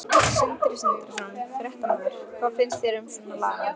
Sindri Sindrason, fréttamaður: Hvað finnst þér um svona lagað?